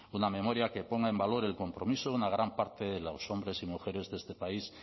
una memoria que ponga en valor el compromiso de una gran parte de los hombres y mujeres de este país